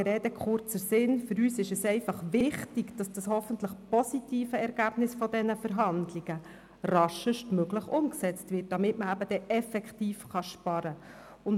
Der langen Rede kurzer Sinn: Für uns ist es einfach wichtig, dass das hoffentlich positive Ergebnis dieser Verhandlungen raschestmöglich umgesetzt wird, damit man dann effektiv sparen kann.